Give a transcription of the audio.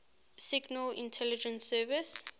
signal intelligence service